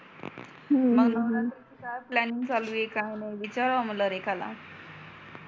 हम्म मग नवरात्रिची काय प्लॅनिंग चालू आहे काय नाही विचाराव म्हणल रेखाला